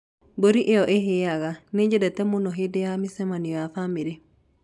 Mbũri ĩyo ĩhĩaga nĩ nyendete mũno hĩndĩ ya mĩcemanio ya famĩlĩ.